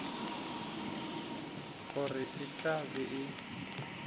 gore e tla be e